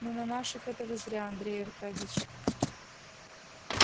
ну на наших это вы зря андрей аркадьич